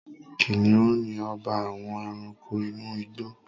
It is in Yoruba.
Kìnìún ni ọba àwọn Ẹranko inú igbó